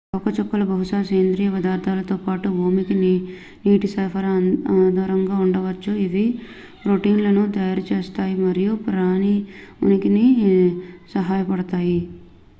తోకచుక్కలు బహుశా సేంద్రీయ పదార్థాలతో పాటు భూమికి నీటి సరఫరాకు ఆధారంగా ఉండవచ్చు ఇవి ప్రోటీన్లను తయారుచేస్తాయి మరియు ప్రాణి ఉనికిలో సహాయపడతాయి